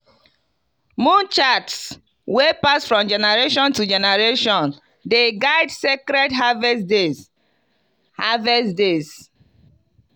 moon charts wey pass from generation to generation dey guide sacred harvest days. harvest days.